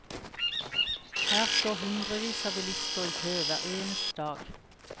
Her står hundrevis av bilister i kø hver eneste dag.